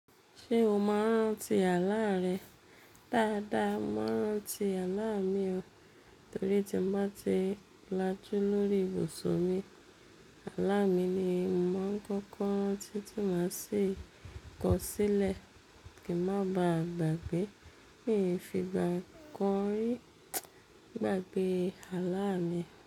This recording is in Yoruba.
Ṣé o maa n ràǹtí àlà rẹ? Dáadáa, mo maa n ràǹtí àlà mi o. Torí tí n bá ti lajú lórí ìbusun mi, àlà mi ni mo maa ń kọ́kọ́ rantí tí maa sì kọ̀ ọ́ sílẹ̀ kí n má ba à gbàgbé. Mií fi gba kan ri gbàgbé àlà mi.